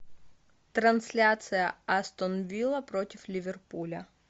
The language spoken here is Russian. трансляция астон вилла против ливерпуля